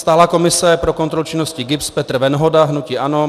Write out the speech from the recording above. Stálá komise pro kontrolu činnosti GIBS Petr Venhoda, hnutí ANO.